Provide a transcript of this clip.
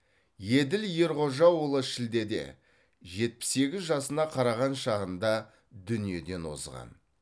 еділ ерғожаұлы шілдеде жетпіс сегіз жасына қараған шағында дүниеден озған